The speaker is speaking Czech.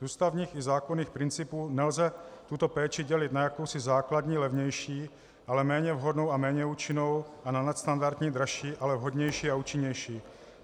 "Z ústavních i zákonných principů nelze tuto péči dělit na jakousi základní levnější, ale méně vhodnou a méně účinnou, a na nadstandardní, dražší, ale vhodnější a účinnější.